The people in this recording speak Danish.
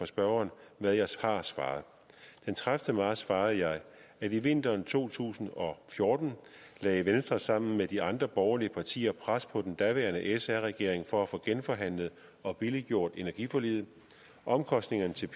spørgeren hvad jeg har svaret den tredivete marts svarede jeg at i vinteren to tusind og fjorten lagde venstre sammen med de andre borgerlige partier pres på den daværende sr regering for at få genforhandlet og billiggjort energiforliget omkostningerne til